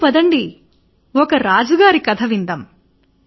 పదండి పదండి ఒక రాజుగారి కథ విందాం